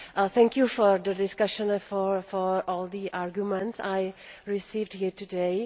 Thank you for the discussion and for all the arguments put forward here today.